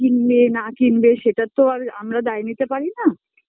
কিনবে না কিনবে সেটার তো আর আমরা দায় নিতে পারি না